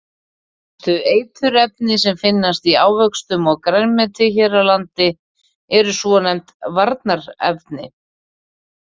Helstu eiturefni sem finnast í ávöxtum og grænmeti hér á landi eru svonefnd varnarefni.